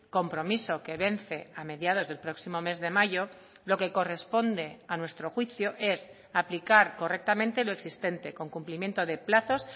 compromiso que vence a mediados del próximo mes de mayo lo que corresponde a nuestro juicio es aplicar correctamente lo existente con cumplimiento de plazos